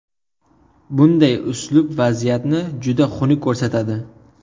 Bunday uslub vaziyatni juda xunuk ko‘rsatadi.